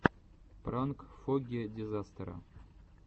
пранк фогги дизастера